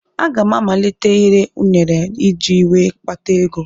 Aga m amalite ire ụnere iji wee kpata ego.